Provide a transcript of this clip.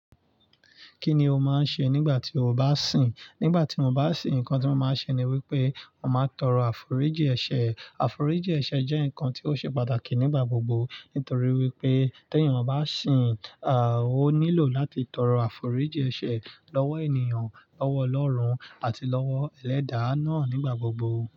Kí ni o máa ń ṣe nígbà tí o bá sìn? Nígbà ti mo bá sìn, nǹkan tí mo máa ń ṣe ni wípé, mo máa ń tọrọ àforíjì ẹ̀ṣẹ̀. Àforíjì ẹ̀ṣẹ̀ jẹ́ ǹkan tí ó ṣe pàtàkì nígbà gbogbo, nítorí wípé tí ènìyàn bá sìn, ó nílò láti tọrọ àforíjì ẹ̀ṣẹ̀ lọ́wọ́ ènìyàn, lọ́wọ́ Ọlọ́run àti lọ́wọ́ Ẹlẹ́da na nigbagbogbo.